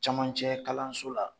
Cɛmancɛ kalanso la